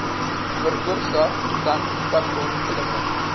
veroorsaak dan padongelukke